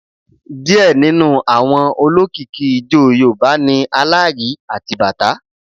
Díẹ̀ nínú àwọn olókìkí ijó Yorùbá ni Alárìí àti bàtá.